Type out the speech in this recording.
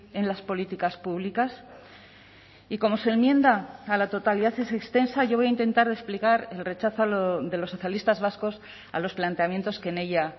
en las políticas públicas y como su enmienda a la totalidad es extensa yo voy a intentar explicar el rechazo de los socialistas vascos a los planteamientos que en ella